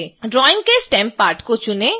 drawing के stem part को चुनें